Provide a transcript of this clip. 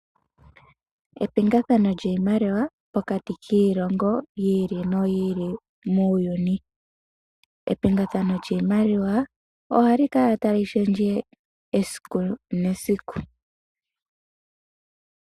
Epingathano lyiimaliwa pokati kiilongo yi ili noyi ili muuyuni. Epingathano lyiimaliwa ohali kala tali shendje esiku nesiku.